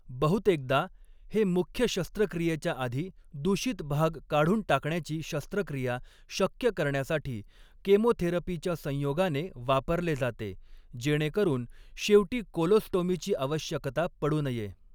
बहुतेकदा, हे मुख्य शस्त्रक्रियेच्या आधी दूषित भाग काढून टाकण्याची शस्त्रक्रिया शक्य करण्यासाठी केमोथेरपीच्या संयोगाने वापरले जाते, जेणेकरून शेवटी कोलोस्टोमीची आवश्यकता पडू नये.